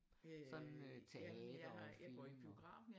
Sådan øh teater og film og